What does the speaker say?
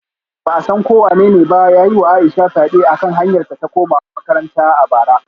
Wani mutum da ba a san ko wanene ba ya yi wa Aisha fyade a kan hanyarta ta komawa makaranta a bara